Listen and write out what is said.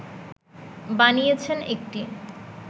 বানিয়েছেন একটি